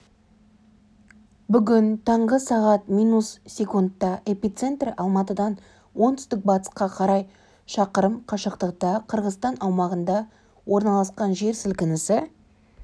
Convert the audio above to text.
бүгін таңғы сағат минут секундта эпицентрі алматыдан оңтүстік-батысқа қарай шақырым қашықтықта қырғызстан аумағында орналасқан жер сілкінісі